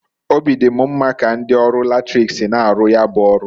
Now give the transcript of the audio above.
Obi di m mma ka ndi ọrụ latrik si na-aru ya bu ọrụ.